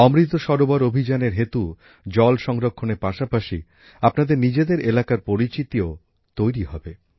অমৃত সরোবর অভিযানের হেতু জল সংরক্ষণের পাশাপাশি আপনাদের নিজেদের এলাকার পরিচিতিও তৈরি হবে